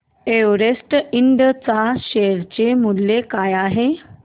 Everest इंड च्या share चे मूल्य काय आहे